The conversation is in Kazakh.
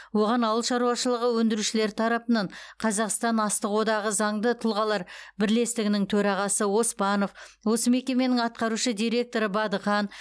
оған ауыл шаруашылығы өндірушілері тарапынан қазақстан астық одағы заңды тұлғалар бірлестігінің төрағасы оспанов осы мекеменің атқарушы директоры бадыхан